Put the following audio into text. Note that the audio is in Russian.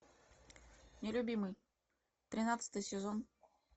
нелюбимый тринадцатый сезон